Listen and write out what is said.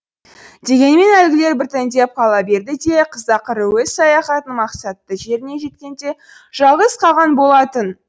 дегенмен әлгілер біртіндеп қала берді де қыз ақыры өз саяхатының мақсатты жеріне жеткенде жалғыз қалған болатын